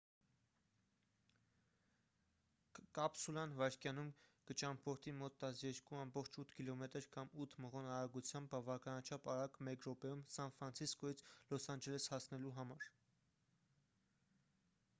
կապսուլան վայրկյանում կճամփորդի մոտ 12,8 կմ կամ 8 մղոն արագությամբ բավականաչափ արագ մեկ րոպեում սան ֆրանցիսկոյից լոս անջելես հասնելու համար